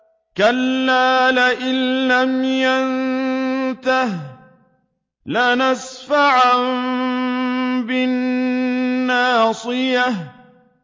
كَلَّا لَئِن لَّمْ يَنتَهِ لَنَسْفَعًا بِالنَّاصِيَةِ